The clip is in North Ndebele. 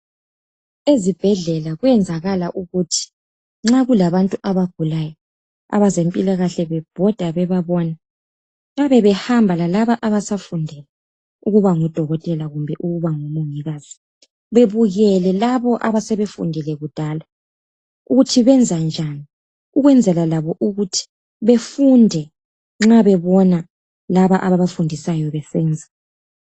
Ezibhedlela kwenzakala ukuthi nxa kulabantu abagulayo abezempilakahle bebhoda bebabona bayabe behamba lalabo abasafundela ukuba ngo Dokotela kumbe ukubango Mongikazi. Bebukele labo asebefundile kudala ukuthi benzani njani ukwenzela labo ukuthi befunde nxa bebona labo abafundisayo besenza.